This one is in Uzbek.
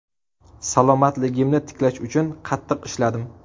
Salomatligimni tiklash uchun qattiq ishladim.